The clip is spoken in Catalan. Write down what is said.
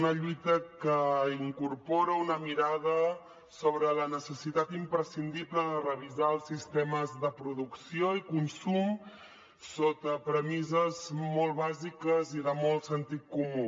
una lluita que incorpora una mirada sobre la necessitat imprescindible de revisar els sistemes de producció i consum sota premisses molt bàsiques i de molt sentit comú